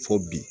Fo bi